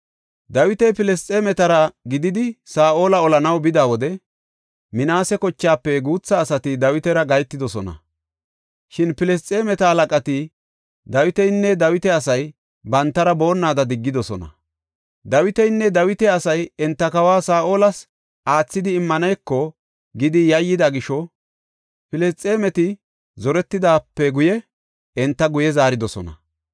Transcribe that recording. Dawiti Filisxeemetara gididi Saa7ola olanaw bida wode, Minaase kochaafe guutha asati Dawitara gahetidosona. Shin Filisxeemeta halaqati Dawitinne Dawita asay bantara boonnada diggidosona. Dawitinne Dawita asay, enta kawa Saa7olas aathidi immaneko gidi yayyida gisho Filisxeemeti zoretidaape guye enta guye zaaridosona.